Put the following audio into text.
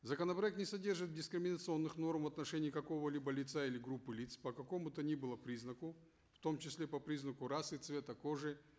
законопроект не содержит дискриминационных норм в отношении какого либо лица или группы лиц по какому то ни было признаку в том числе по признаку расы цвета кожи